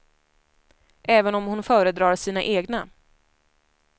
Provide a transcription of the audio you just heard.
Även om hon föredrar sina egna.